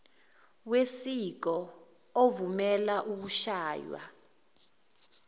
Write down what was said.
wesiko ovumela ukushaywa